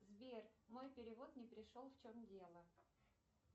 сбер мой перевод не пришел в чем дело